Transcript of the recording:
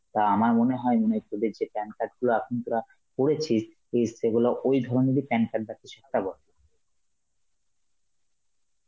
তা আমার মনে হয় মানে তোদের যে PAN card গুলা এখন তোরা করেছিস, এ সেইগুলো ওই ধরনেরই PAN card বা কিছু একটা বটে.